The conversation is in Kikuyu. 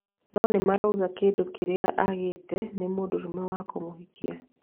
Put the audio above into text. No nimarauga kĩndũ kĩrĩa gĩika agĩte nĩ mũndũrũme wa kũmũhikia